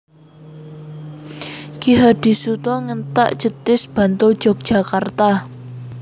Ki Hadisutoyo Ngentak Jetis Bantul Yogyakarta